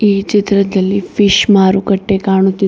ಈ ಚಿತ್ರದಲ್ಲಿ ಫಿಶ್ ಮಾರುಕಟ್ಟೆ ಕಾಣುತ್ತಿದೆ.